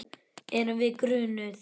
Erum við grunuð?